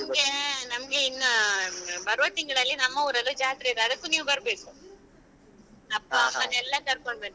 ನಮ್ಗೆ ನಮ್ಗೆ ಇನ್ನು ಬರುವ ತಿಂಗಳಲ್ಲಿ ನಮ್ಮೂರಲ್ಲೂ ಜಾತ್ರೆ ಇದೆ ಅದಕ್ಕೂ ನೀವು ಬರ್ಬೇಕು ಅಪ್ಪ ಅಮ್ಮನ್ನ ಎಲ್ಲ ಕರ್ಕೊಂಡು ಬನ್ನಿ.